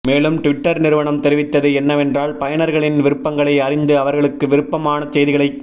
மேலும் ட்விட்டர் நிறுவனம் தெரிவித்தது என்னவென்றால் பயனர்களின் விருப்பங்களை அறிந்து அவர்களுக்கு விருப்பமான செய்திகளை